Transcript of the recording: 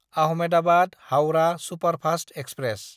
आहमेदाबाद–हाउरा superfast express